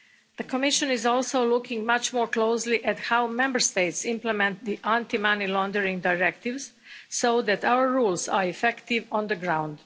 The Commission is also looking much more closely at how Member States implement the anti money laundering directives so that our rules are effective on the ground.